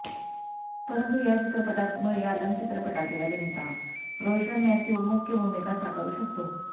परंतु या चित्रपटात मळयालम चित्रपटातील अभिनेता रोशन मॅथ्यू मुख्य भूमिका साकारू शकतो